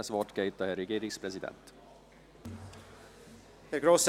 Das Wort geht an den Herrn Regierungspräsidenten.